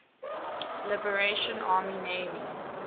liberation army navy